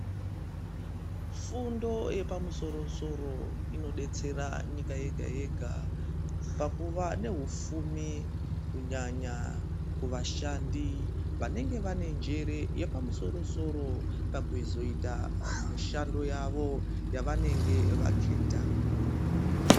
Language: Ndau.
Fundo yemamusoro inodetsera nyika yega-yega pakuva nehufumi kunyanya kuvashandi vanenge vane njere yepamusoro-soro ,pakuzoita mishando yavo, yavaenge vachiita.